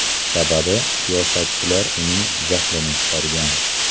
Sababi siyosatchilar uning jahlini chiqargan.